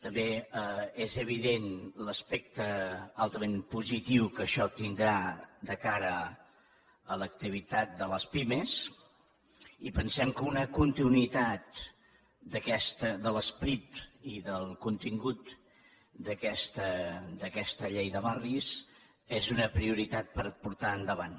també és evident l’aspecte altament positiu que això tindrà de cara a l’activitat de les pimes i pensem que una continuïtat de l’esperit i del contingut d’aquesta llei de barris és una prioritat per portar endavant